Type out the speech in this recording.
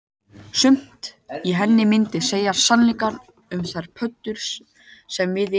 Sumt í henni myndi segja sannleikann um þær pöddur sem við erum